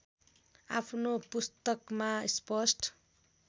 आफ्नो पुस्तकमा स्पष्ट